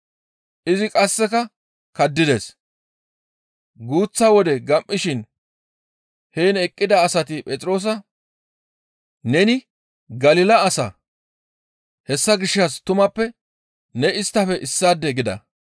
Izi qasseka kaddides. Guuththa wode gam7ishin heen eqqida asati Phexroosa, «Neni Galila asa, hessa gishshas tumappe ne isttafe issaade» gida.